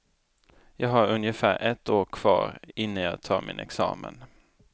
Jag har ungefär ett år kvar innan jag tar min examen.